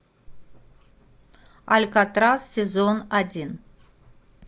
алькатрас сезон один